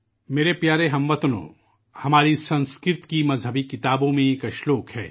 میرے عزیز اہل وطن ، ہماری سنسکرت کی کتابوں میں ایک اشلوک ہے